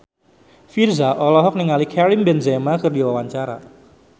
Virzha olohok ningali Karim Benzema keur diwawancara